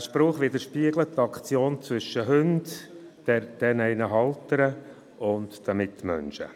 Dieser Spruch widerspiegelt die Aktion zwischen Hunden, deren Haltern und Mitmenschen.